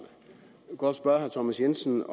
jeg vil godt spørge herre thomas jensen